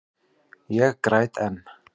Ég græt enn.